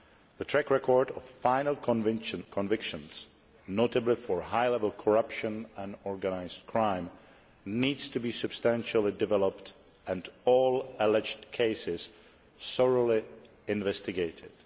The track record of final convictions, notably for high level corruption and organised crime, needs to be substantially increased and all alleged cases thoroughly investigated.